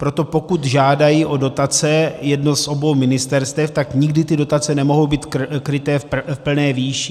Proto pokud žádají o dotace jedno z obou ministerstev, tak nikdy ty dotace nemohou být kryté v plné výši.